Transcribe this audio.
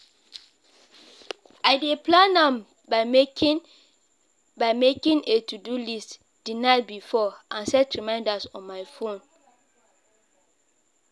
i dey plan am by making by making a to-do list di night before and set reminders on my phone.